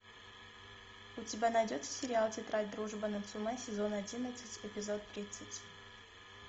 у тебя найдется сериал тетрадь дружбы нацумэ сезон одиннадцать эпизод тридцать